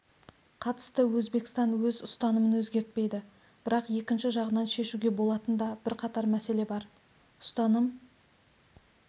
қатысты өзбекстан өз ұстанымын өзгертпейді бірақ екінші жағынан шешуге болатын да бірқатар мәселе бар ұстаным